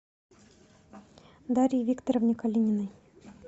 дарье викторовне калининой